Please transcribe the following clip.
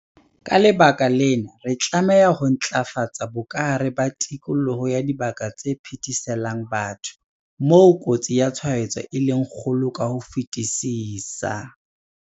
Ka lebaka lena, re tlameha ho ntlafatsa bokahare ba tikoloho ya dibaka tse phetheselang batho, moo kotsi ya tshwaetso e leng kgolo ka ho fetisisa.